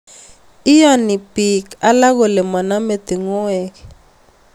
Iyani piik alak kole maname tung'wek